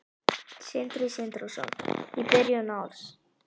Sindri Sindrason: Í byrjun árs?